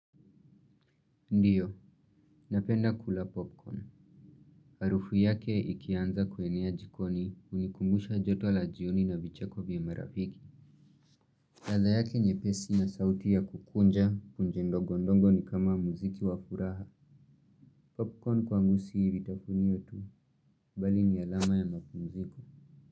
Ndiyo, napenda kula popcorn. Harufu yake ikianza kuenea jikoni unikumbusha joto la jioni na vicheko vya marafiki. Ladha yake nyepesi na sauti ya kukunja punje ndogondogo ni kama muziki wa furaha. Popcorn kwangu si vitafunio tu, bali ni alama ya mapumziko.